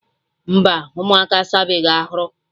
Mba, ụmụaka asabeghi arụ